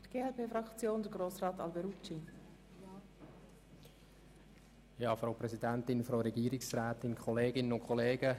In diesem Sinn unterstützen wir die Planungserklärung 2.